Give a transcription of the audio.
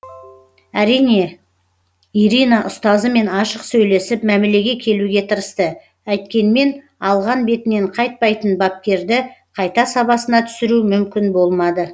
әрине ирина ұстазымен ашық сөйлесіп мәмілеге келуге тырысты әйткенмен алған бетінен қайтпайтын бапкерді қайта сабасына түсіру мүмкін болмады